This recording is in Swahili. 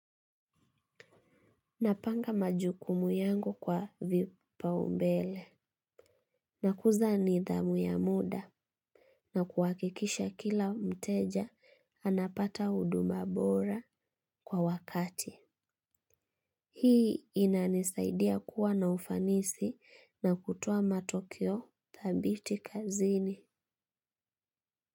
Napanga majukumu yangu kwa vipaumbele. Nakuza nidhamu ya muda. Nakuhakikisha kila mteja, anapata huduma bora kwa wakati. Hii inanisaidia kuwa na ufanisi na kutoa matokeo thabiti kazini.